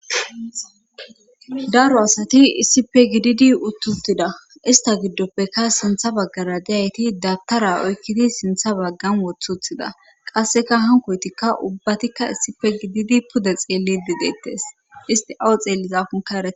Daro asati issipe gididi uttuttida ista giddoppekka sintha baggara deyayti dabtara oykkidi sintha baggan woththuthida qasseka hankoytikka ubbatikka issife gididi pude xeellidi deettes isti awo xeellizakunkaree.